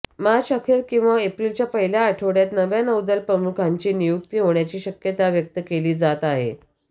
मार्च अखेर किंवा एप्रिलच्या पहिल्या आठवड्यात नव्या नौदलप्रमुखांची नियुक्त होण्याची शक्यता व्यक्त केली जात आहे